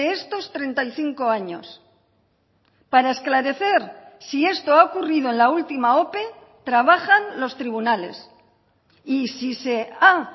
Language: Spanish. estos treinta y cinco años para esclarecer si esto ha ocurrido en la última ope trabajan los tribunales y si se ha